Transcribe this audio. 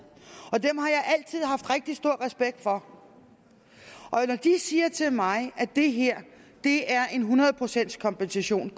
at haft rigtig stor respekt for og når de siger til mig at det her er en hundrede procents kompensation